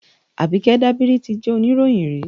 Àbíkẹ́ Dábírí ti jẹ́ oníròyìn rí